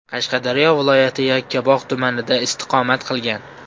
Qashqadaryo viloyati Yakkabog‘ tumanida istiqomat qilgan.